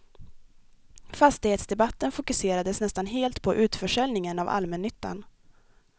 Fastighetsdebatten fokuserades nästan helt på utförsäljningen av allmännyttan.